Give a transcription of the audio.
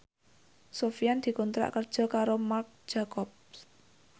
Sofyan dikontrak kerja karo Marc Jacob